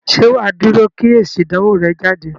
Ṣé wà á dúró kí èsì ìdánwò rẹ jáde?